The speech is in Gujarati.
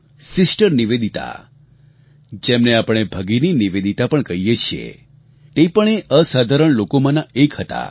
સિસ્ટર નિવેદિતા જેમને આપણે ભગિની નિવેદિતા પણ કહીએ છીએ તે પણ એ અસાધારણ લોકોમાંના એક હતા